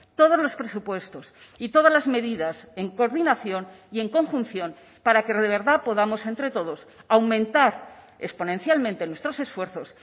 todos los presupuestos y todas las medidas en coordinación y en conjunción para que de verdad podamos entre todos aumentar exponencialmente nuestros esfuerzos